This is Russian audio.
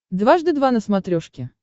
дважды два на смотрешке